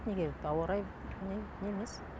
не керек ауа райы не емес